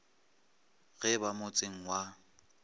ge e ba motseng wa